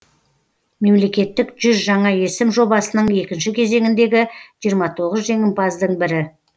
мемлекеттік жүз жаңа есім жобасының екінші кезеңіндегі жиырма тоғыз жеңімпаздың бірі